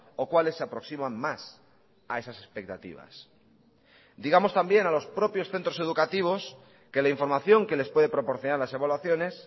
o cuáles se aproximan más a esas expectativas digamos también a los propios centros educativos que la información que les puede proporcionar las evaluaciones